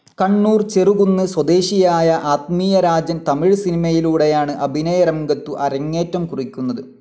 കണ്ണൂർ ചെറുകുന്ന് സ്വദേശിയായ ആത്മീയരാജൻ തമിഴ് സിനിമയിലൂടെയാണ് അഭിനയരംഗത്തു അരങ്ങേറ്റം കുറിക്കുന്നത്.